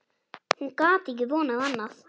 Hún gat ekki vonað annað.